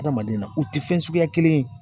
Adamaden na u tɛ fɛn suguya kelen ye.